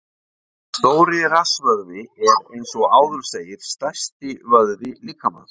Stóri rassvöðvi er, eins og áður segir, stærsti vöðvi líkamans.